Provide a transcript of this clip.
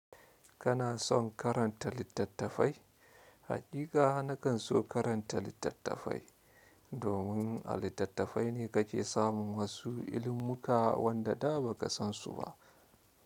Kana son karanta littattafai? Haƙiƙa na kan so karanta littattafai domin a littattafai ne ka ke samun wasu ilimuka wanda da ba ka san su ba.